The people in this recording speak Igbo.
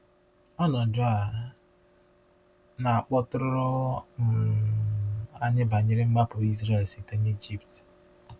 Ọnọdụ a na-akpọtụrụ um anyị banyere mgbapụ Izrel site n’Egypt.